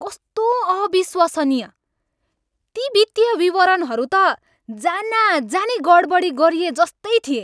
कस्तो अविश्वसनीय! ती वित्तीय विवरणहरू त जानाजानी गडबडी गरिएजस्तै थिए!